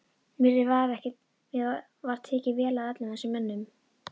Mér var tekið vel af öllum þessum mönnum.